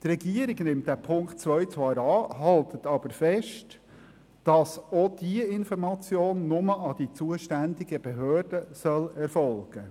Die Regierung nimmt diesen Punkt 2 zwar an, zugleich hält sie aber fest, auch diese Information solle ausschliesslich an die zuständigen Behörden fliessen.